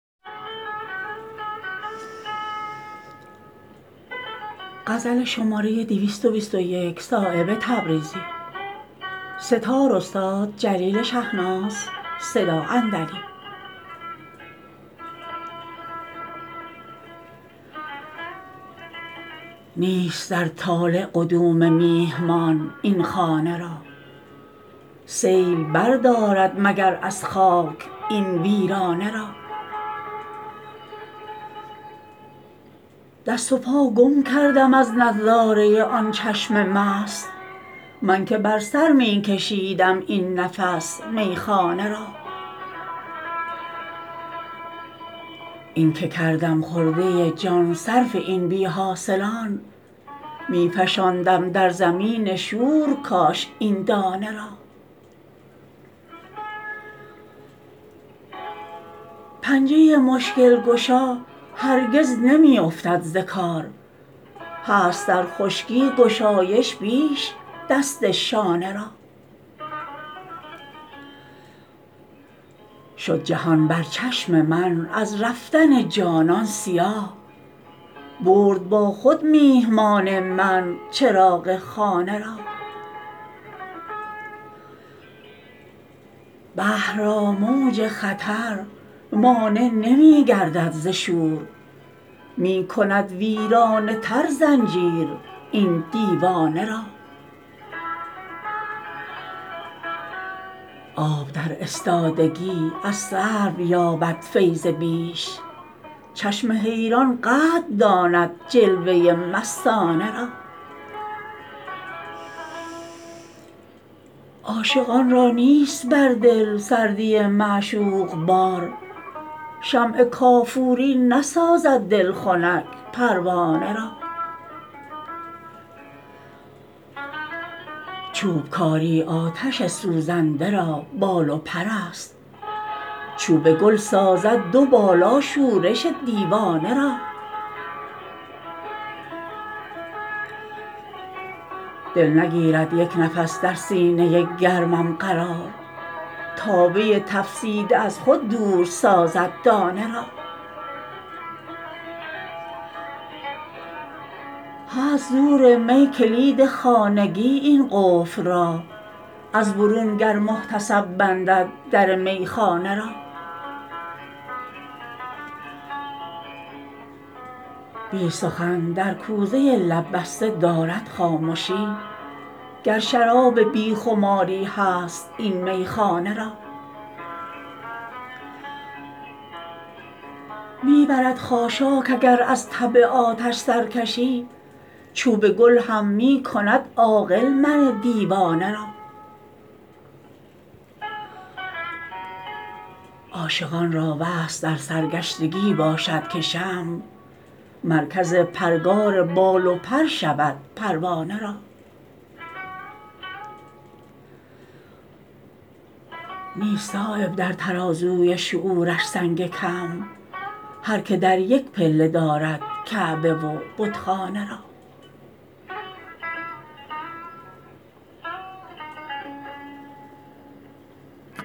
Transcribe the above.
نیست در طالع قدوم میهمان این خانه را سیل بردارد مگر از خاک این ویرانه را دست و پا گم کردم از نظاره آن چشم مست من که بر سر می کشیدم این نفس میخانه را این که کردم خرده جان صرف این بی حاصلان می فشاندم در زمین شور کاش این دانه را پنجه مشکل گشا هرگز نمی افتد ز کار هست در خشکی گشایش بیش دست شانه را شد جهان بر چشم من از رفتن جانان سیاه برد با خود میهمان من چراغ خانه را بحر را موج خطر مانع نمی گردد ز شور می کند ویرانه تر زنجیر این دیوانه را آب در استادگی از سرو یابد فیض بیش چشم حیران قدر داند جلوه مستانه را عاشقان را نیست بر دل سردی معشوق بار شمع کافوری نسازد دل خنک پروانه را چوبکاری آتش سوزنده را بال و پرست چوب گل سازد دو بالا شورش دیوانه را دل نگیرد یک نفس در سینه گرمم قرار تابه تفسیده از خود دور سازد دانه را هست زور می کلید خانگی این قفل را از برون گر محتسب بندد در میخانه را بی سخن در کوزه لب بسته دارد خامشی گر شراب بی خماری هست این میخانه را می برد خاشاک اگر از طبع آتش سرکشی چوب گل هم می کند عاقل من دیوانه را عاشقان را وصل در سرگشتگی باشد که شمع مرکز پرگار بال و پر شود پروانه را نیست صایب در ترازوی شعورش سنگ کم هر که در یک پله دارد کعبه و بتخانه را